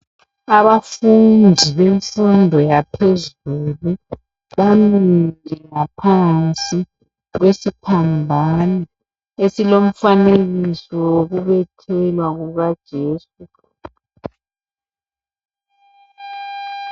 Abafundi bemfundo yaphezulu bamile ngaphansi kwesiphambano esilomfanekisi wokubethelwa kuka Jesu